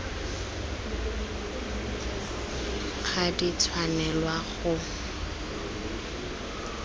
ga di a tshwanelwa go